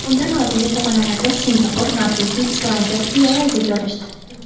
Undan oldingi pog‘onalarda Singapur, Norvegiya, Islandiya va Finlyandiya joylashdi.